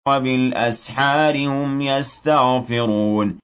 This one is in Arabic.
وَبِالْأَسْحَارِ هُمْ يَسْتَغْفِرُونَ